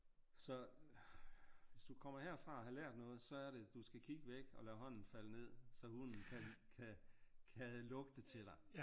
Så hvis du kommer herfra og har lært noget så er det du skal kigge væk og lade hånden falde ned så hunden kan kan lugte til dig